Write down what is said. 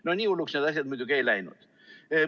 No nii hulluks need asjad muidugi ei läinud.